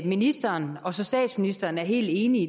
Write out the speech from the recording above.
ministeren og statsministeren er helt enige